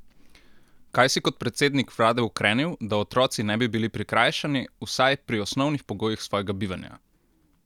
Kaj si kot predsednik vlade ukrenil, da otroci ne bi bili prikrajšani vsaj pri osnovnih pogojih svojega bivanja?